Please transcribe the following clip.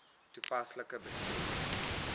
toepaslik bestuur